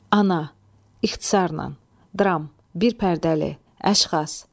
Ana, ixtisarlan, dram, bir pərdəli, əşxas.